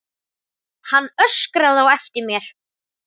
Hann öskraði á eftir mér.